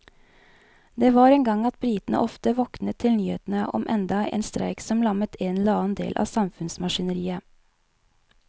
Det var en gang at britene ofte våknet til nyhetene om enda en streik som lammet en eller annen del av samfunnsmaskineriet.